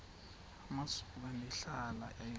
amasuka ndihlala ale